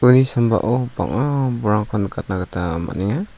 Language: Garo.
uani sambao bang·a bolrangkon nikatna gita man·enga.